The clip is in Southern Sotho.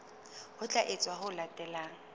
ho tla etswa ho latela